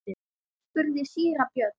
spurði síra Björn.